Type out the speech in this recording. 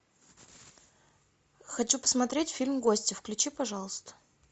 хочу посмотреть фильм гости включи пожалуйста